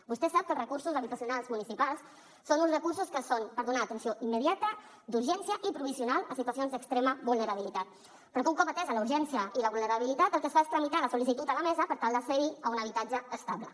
vostè sap que els recursos habitacionals municipals són uns recursos que són per donar atenció immediata d’urgència i provisional a situacions d’extrema vulnerabilitat però que un cop atesa la urgència i la vulnerabilitat el que es fa és tramitar la sol·licitud a la mesa per tal d’accedir a un habitatge estable